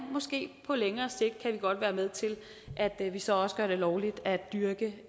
måske kan på længere sigt godt være med til at vi så også gør det lovligt at dyrke